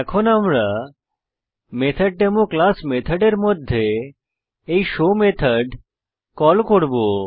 এখন আমরা method demo class মেথডের মধ্যে এই শো মেথড কল করব